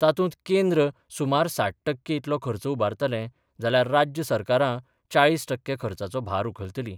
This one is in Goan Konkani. तातूंत केंद्र सुमार साठ टक्के इतलो खर्च उबारतले जाल्यार राज्य सरकारां चाळीस टक्के खर्चाचो भार उखलतलीं.